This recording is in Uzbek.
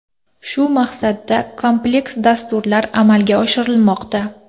Shu maqsadda kompleks dasturlar amalga oshirilmoqda.